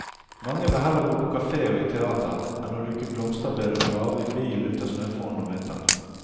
Mange vil heller gå på kafé og i teater enn å luke blomsterbed og grave bilen ut av snøfonnene om vinteren.